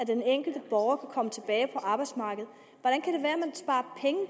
den enkelte borger kan komme tilbage på arbejdsmarkedet